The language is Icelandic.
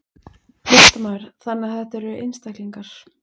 Fréttamaður: Þannig að þetta eru einstaklingar?